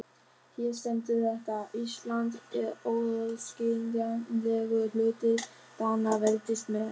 Hér stendur þetta: Ísland er óaðskiljanlegur hluti Danaveldis með.